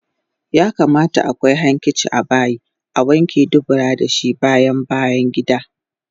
Yakamata akwai hankici abayi Awanke dubura dashi bayan bayangida